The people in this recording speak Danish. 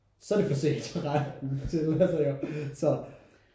Så er det for sent til altså ja så